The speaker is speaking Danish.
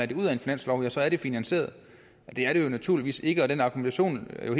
det ud af en finanslov ja så er det finansieret det er det jo naturligvis ikke og den argumentation er jo